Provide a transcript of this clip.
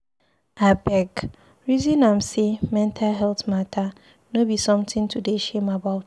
Abeg, resin am sey mental healt mata no be sometin to dey shame about.